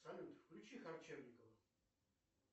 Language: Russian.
салют включи харчевникова